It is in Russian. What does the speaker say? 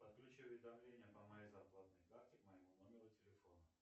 подключи уведомления по моей зарплатной карте к моему номеру телефона